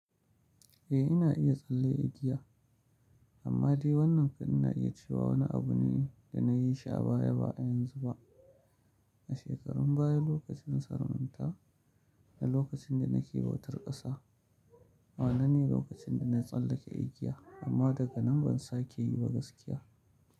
Eh ina iya tsalle igiya amma dai wannan kunne ina iya cewa wani abu ne da na yi shi a baya ba yanzu ba, a shekarun baya lokacin sarauta na lokacin da nake bautar ƙasa. Wannan ne lokacin da na tsallake igiya amma daga nan ban sake yi ba gaskiya.